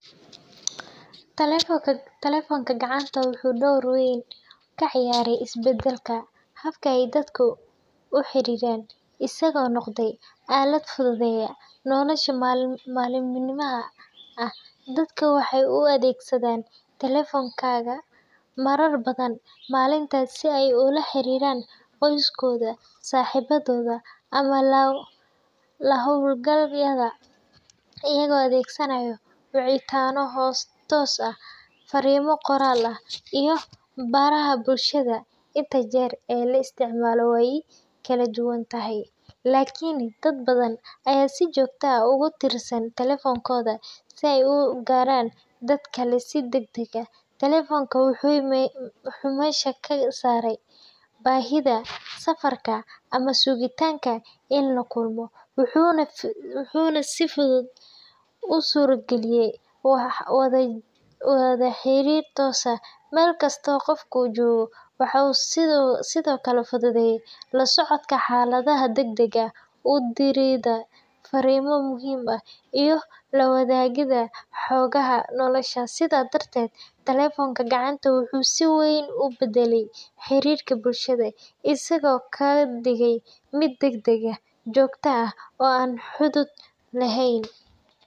Taleefonka gacanta wuxuu door weyn ka ciyaaray isbeddelka habka ay dadka u xiriiraan, isagoo noqday aalad fududeeya nolosha maalinlaha ah. Dadku waxay u adeegsadaan taleefanka marar badan maalintii si ay ula xiriiraan qoysaskooda, saaxiibadood, ama la-hawlgalayaal, iyagoo adeegsanaya wicitaano toos ah, fariimo qoraal ah, iyo baraha bulshada. Inta jeer ee la isticmaalo way kala duwan tahay, laakiin dad badan ayaa si joogto ah ugu tiirsan taleefankooda si ay u gaaraan dad kale si degdeg ah. Taleefanka wuxuu meesha ka saaray baahida safarka ama sugitaanka in la kulmo, wuxuuna si fudud u suurageliyay wada xiriir toos ah, meel kasta oo qofku joogo. Waxa uu sidoo kale fududeeyay la socodka xaaladaha degdegga ah, u diridda fariimo muhiim ah, iyo la wadaagidda xogaha nolosha. Sidaas darteed, taleefanka gacanta wuxuu si weyn u beddelay xiriirka bulshada, isaga oo ka dhigay mid degdeg ah, joogto ah, oo aan xuduud lahayn.